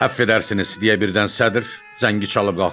Əfv edərsiniz deyə birdən sədr zəngi çalıb qalxdı.